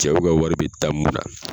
Cɛw ka wari bɛ taa mun na.